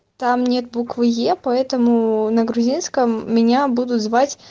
там нет буквы е поэтому на грузинском меня будут звать